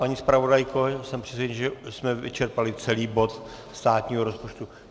Paní zpravodajko, jsem přesvědčen, že jsme vyčerpali celý bod státního rozpočtu.